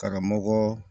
K'a ka mɔgɔ